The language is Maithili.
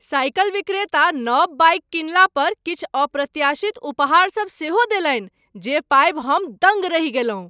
साइकिल विक्रेता नव बाइक किनलापर किछु अप्रत्याशित उपहार सब सेहो देलनि जे पाबि हम दङ्ग रहि गेलहुँ।